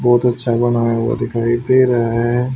बहुत अच्छा बनाया हुआ दिखाई दे रहा है।